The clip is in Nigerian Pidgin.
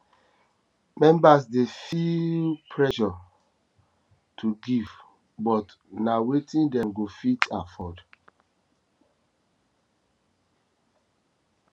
members dey feel pressure dey feel pressure to give but na wetin dem go fit afford